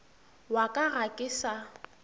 wa ka ga ke sa